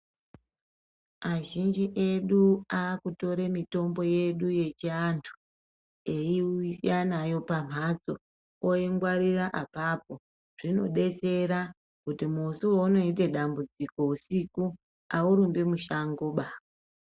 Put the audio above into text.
Azhinji edu aakutore mitombo yedu yechivantu eiuya nayo pamhatso, oingwarira apapo. Zvinodetsera, kuti musi waunoite dambudziko usiku ,aurumbi mushangoba.